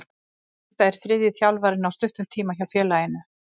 Þetta er þriðji þjálfarinn á stuttum tíma hjá félaginu.